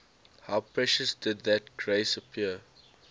how precious did that grace appear